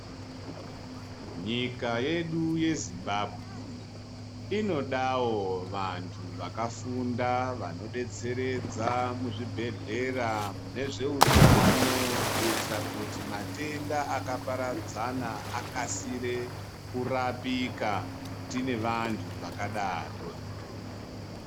Nyika yedu yezimbabwe inodawo vantu vakafunda vanobetseredza muzvibhedhlera mune zveutano kuitire kuti matenda akaparadzana aksasire kurapika tine vantu vakadaro .